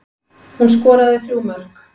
Hún skoraði þrjú mörk